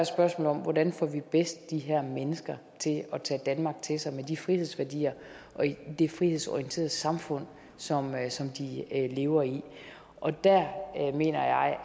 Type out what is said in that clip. spørgsmålet hvordan vi bedst får de her mennesker til at tage danmark til sig med de frihedsværdier og det frihedsorienterede samfund som vi lever i og der mener jeg at